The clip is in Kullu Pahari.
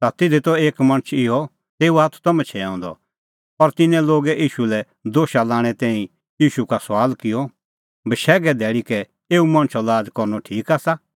ता तिधी त एक मणछ इहअ तेऊओ हाथ त मछैंअ द और तिन्नैं लोगै ईशू लै दोशा लाणें तैणीं ईशू का सुआल किअ बशैघे धैल़ी कै एऊ मणछो लाज़ करनअ ठीक आसा